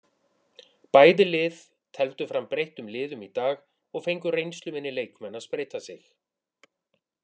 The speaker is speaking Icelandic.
Bæði lið tefldu fram breyttum liðum í dag og fengu reynsluminni leikmenn að spreyta sig.